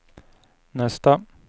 nästa